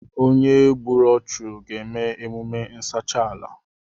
Onye gbùrù ọchu ga eme emume nsacha ala